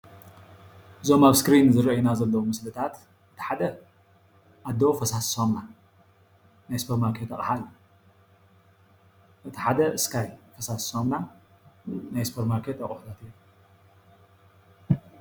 እዞም ኣብ እስክሪን ዝረኦዩና ዘለዉ ምስልታት እቲ ሓደ ኣዶ ፈሳሲ ሳሙና ናይ ሱፖር ማርከረት ኣቁሓ እቲ ሓደ እስካይ ፈሰሲ ሳሙና ናይ ሱፖር ማርኬት ኣቁሑታት እዮም